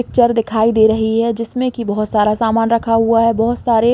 Picture दिखाई दे रही है जिसमें की बहुत सारा समान रखा हुआ है। बहुत सारे--